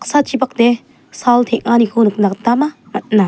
sal teng·aniko nikna gitaba man·a.